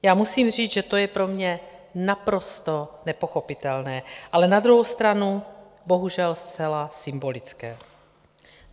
Já musím říct, že to je pro mě naprosto nepochopitelné, ale na druhou stranu bohužel zcela symbolické.